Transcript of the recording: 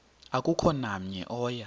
akukho namnye oya